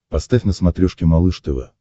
поставь на смотрешке малыш тв